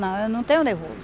Não, eu não tenho nervoso.